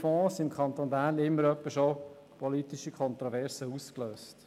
Fonds haben im Kanton Bern immer wieder politische Kontroversen ausgelöst.